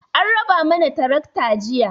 An raba mana tarakta jiya.